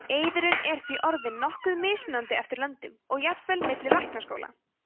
eiðurinn er því orðinn nokkuð mismunandi eftir löndum og jafnvel milli læknaskóla